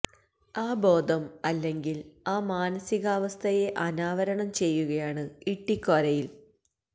ആ ബോധം അല്ലെങ്കില് ആ മാനസികാവസ്ഥയെ ആനാവരണം ചെയ്യുകയാണ് ഇട്ടിക്കോരയില്